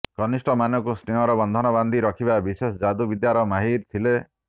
କନିଷ୍ଠମାନଙ୍କୁ ସ୍ନେହର ବନ୍ଧନ ବାନ୍ଧି ରଖିବାର ବିଶେଷ ଯାଦୁ ବିଦ୍ୟାରେ ମାହିର ଥିଲେ